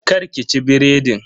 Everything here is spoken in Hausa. Kar ki ci biredin.